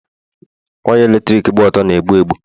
waya eletrik gba ọtọ na-egbu egbu